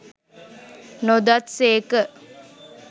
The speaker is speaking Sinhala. නොදත් සේක